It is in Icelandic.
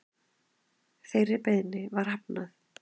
Þeirri beiðni var hafnað